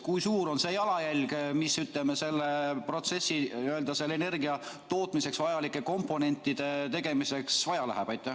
Kui suur on see jalajälg, mis, ütleme, selleks protsessiks, energiatootmiseks vajalike komponentide tegemiseks vaja läheb?